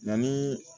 Yanni